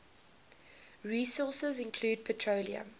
resources include petroleum